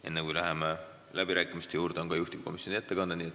Enne kui läheme läbirääkimiste juurde, on juhtivkomisjoni ettekanne.